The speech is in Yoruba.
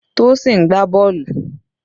Tosin ń gbá bọ́ọ̀lù.